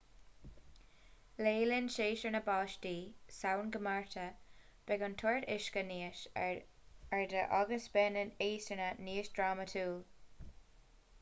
le linn séasúr na báistí samhain go márta beidh an toirt uisce níos airde agus beidh na heasanna níos drámatúil